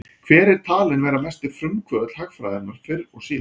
Hver er talinn vera mesti frumkvöðull hagfræðinnar fyrr og síðar?